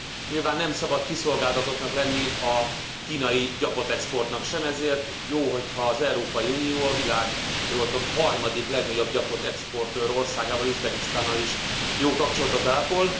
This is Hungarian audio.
Nyilván nem szabad kiszolgáltatottnak lenni a kínai gyapotexportnak sem, ezért jó, ha az Európai Unió a világ ha jól tudom harmadik legnagyobb gyapotexportőr országával, Üzbegisztánnal is jó kapcsolatot ápol.